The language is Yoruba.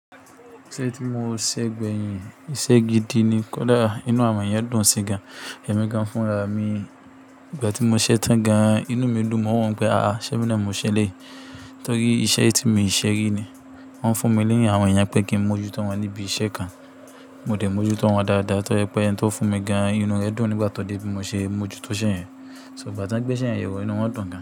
Iṣẹ́ tí mo ṣẹ́ gbẹ̀yìn, iṣẹ́ gidi ni. Kódà inú àwọn èèyàn dùn sí gan, èmi gan fúnra mi. Ìgbà tí mo ṣẹ́ tán gan, inú mi dùn. Mo n wo pé, àá, se emi na mo ṣẹ́ eleyii? Torí iṣẹ́ tí mi ṣe rí ni. Wọ́n ń fún mi ni àwọn èèyàn pé kí n mójútó wọn níbi iṣẹ́ kan. Mo de múójútó wọn dáadáa. To je pé ẹni tó fún mi gan, inú rẹ̀ dùn nígbà tó dé bí mo ṣe mójútó iṣẹ́ yẹn. So igba tan gbé iṣẹ́ yẹn yewo inú wọn dùn gan.